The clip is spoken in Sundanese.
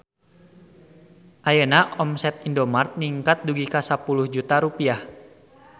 Ayeuna omset Indomart ningkat dugi ka 10 juta rupiah